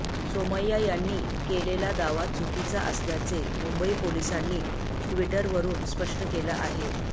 सोमय्या यांनी केलेला दावा चुकीचा असल्याचे मुंबई पोलिसांनी ट्विटवरुन स्पष्ट केलं आहे